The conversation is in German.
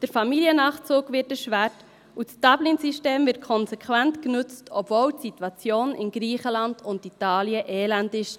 Der Familiennachzug wird erschwert, und das Dublin-System wird konsequent genutzt, obwohl die Situation in Griechenland und Italien elend ist.